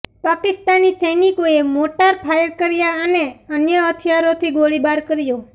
પાકિસ્તાની સૈનિકોએ mortar fire કર્યા અને અન્ય હથિયારોથી ગોળીબાર કર્યો